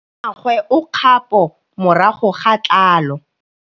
Mmagwe o kgapô morago ga tlhalô.